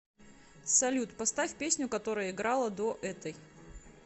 салют поставь песню которая играла до этой